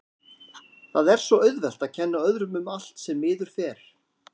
Það er svo auðvelt að kenna öðrum um allt sem miður fer.